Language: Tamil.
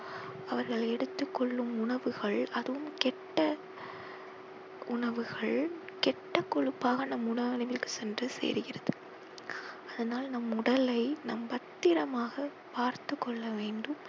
அவர்கள் எடுத்துக் கொள்ளும் உணவுகள் அதுவும் கெட்ட உணவுகள் கெட்ட கொழுப்பாக நம் சென்று சேருகிறது அதனால் நம் உடலை நாம் பத்திரமாக பார்த்துக் கொள்ள வேண்டும்